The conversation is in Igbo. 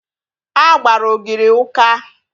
A gbara ogiri ụka